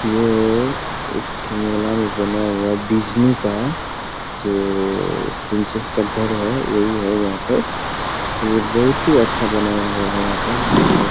ये एक ठो मेला भी बना हुआ है डिज्नी का जो प्रिंसेस का घर है वही यहां पर बहोत ही अच्छा बनाया गया है यहां पर--